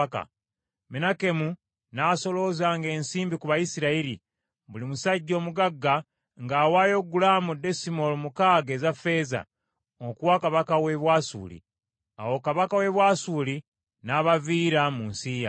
Menakemu n’asoloozanga ensimbi ku Bayisirayiri, buli musajja omugagga ng’awaayo gulaamu desimoolo mukaaga eza ffeeza, okuwa kabaka w’e Bwasuli. Awo kabaka w’e Bwasuli n’abaviira mu nsi yaabwe.